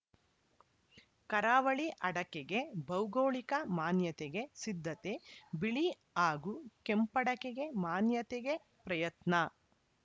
ಕರಾವಳಿ ಅಡಕೆಗೆ ಭೌಗೋಳಿಕ ಮಾನ್ಯತೆಗೆ ಸಿದ್ಧತೆ ಬಿಳಿ ಹಾಗೂ ಕೆಂಪಡಕೆಗೆ ಮಾನ್ಯತೆಗೆ ಪ್ರಯತ್ನ